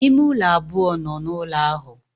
Ime ule abuo no n'ulo ahu.